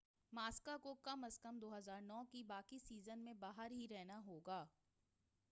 ماسا کو کم از کم 2009 کے باقی سیزن میں باہر ہی رہنا ہوگا